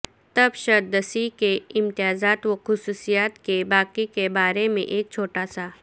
تبشتسدسی کے امتیازات وخصوصیات کے باقی کے بارے میں ایک چھوٹا سا